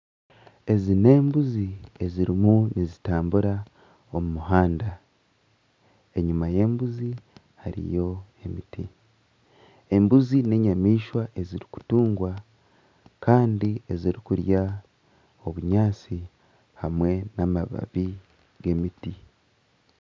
Ezi n'embuzi ezirimu nizitambura omu muhanda enyima y'embuzi hariyo emiti embuzi n’enyamaishwa ezirikutugwa kandi ezirikurya obunyaatsi hamwe n'amababi g'emiti.